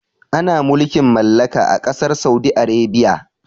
Ana mulkin mallaka ã kasar Saudi Arabia.